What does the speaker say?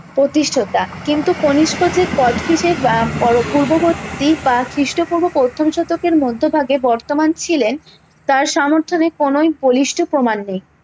প্রতিস্রোতা কিন্তু কনিস্ক যে কোচটিজের আহ পূর্ববর্তী বা খিস্ট পূর্ব প্রথম শতকের মধ্যভাগে বর্তমান ছিলেন তার সর্মথনে কোনোই বলিষ্ঠ প্রমান নেই